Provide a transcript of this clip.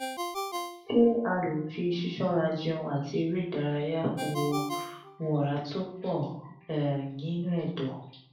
ṣé a lè fi sisora jẹún ati ere idaraya wo wo ora to po um ninu edo?